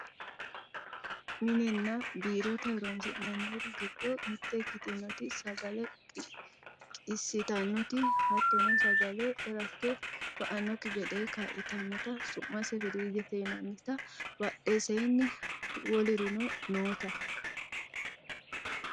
minenna biirote horonsi'nanniri giddo mitte ikkitinoti sagale qiissintannoti hattono sagale rakke ba'annokki gede kaa'litannota su'mase firiijete yinannita badheseenni wolurino noota